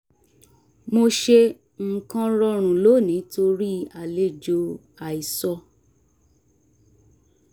mo ṣe nǹkan rọrùn lónìí torí àlejò àìsọ